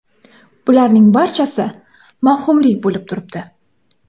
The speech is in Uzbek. Bularning barchasi – mavhumlik bo‘lib turibdi.